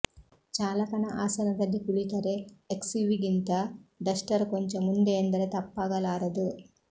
ಚಾಲಕನ ಆಸನದಲ್ಲಿ ಕುಳಿತರೆ ಎಕ್ಸ್ಯುವಿಗಿಂತ ಡಸ್ಟರ್ ಕೊಂಚ ಮುಂದೆ ಎಂದರೆ ತಪ್ಪಾಗಲಾರದು